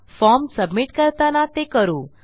form submit करताना ते करू